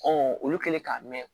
olu kɛlen k'a mɛn